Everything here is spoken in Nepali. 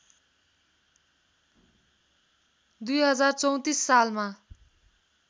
२०३४ सालमा